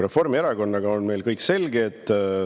Reformierakonnaga on meil kõik selge.